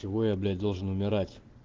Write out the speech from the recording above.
чего я блять должен умирать